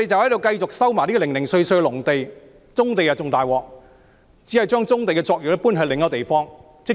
要收回棕地則更困難，只是將棕地的作業搬至另一地方。